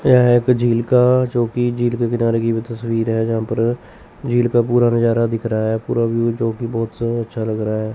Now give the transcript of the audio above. यह एक झील का जो कि झील के किनारे की भी तस्वीर है जहां पर झील का पूरा नज़ारा दिख रहा है पूरा व्यू जो कि बहुत अच्छा लग रहा है।